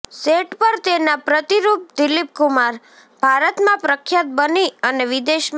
set પર તેના પ્રતિરૂપ દિલીપ કુમાર ભારતમાં પ્રખ્યાત બની અને વિદેશમાં